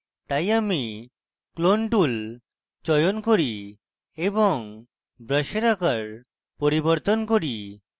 তাই আমি clone tool চয়ন করি এবং brush আকার পরিবর্তন করি